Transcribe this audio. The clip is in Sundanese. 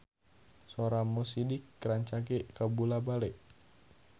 Sora Mo Sidik rancage kabula-bale